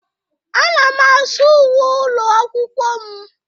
Ana m asụ uwe ụlọ akwụkwọ m.